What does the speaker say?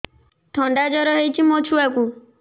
ଥଣ୍ଡା ଜର ହେଇଚି ମୋ ଛୁଆକୁ